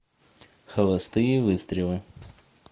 холостые выстрелы